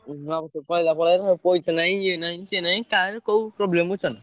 ନୂଆବର୍ଷ ପଳେଇଲା ପଳେଇଲା ସେଇଠୁ ପଇସା ନାଇଁ ଇଏ ନାଇଁ ସିଏ ନାଇଁ କାହାର କୋଉ problem ବୁଝୁଛନା?